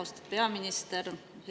Austatud peaminister!